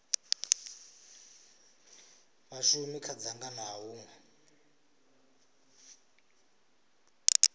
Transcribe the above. vhashumi kha dzangano ha hunwe